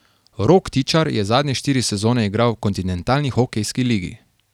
Rok Tičar je zadnje štiri sezone igral v Kontinentalni hokejski ligi.